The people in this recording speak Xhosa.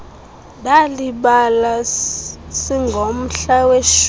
ndalibala singomhla weshumi